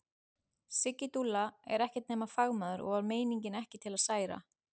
Siggi dúlla er ekkert nema fagmaður og var meiningin ekki til að særa.